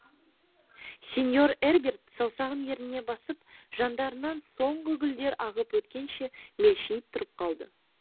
сеньор эрберт саусағын ерніне басып жандарынан соңғы гүлдер ағып өткенше мелшиіп тұрып қалды